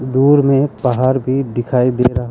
दूर में पहाड़ भी दिखाई दे रहा।